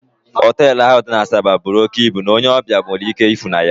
Hotelu ahụ dị n'Asaba bụrụ òkè ịbụ n'onye ọbịa nwere ike ịfụ na ya